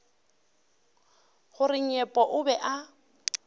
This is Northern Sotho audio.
gore nyepo o be a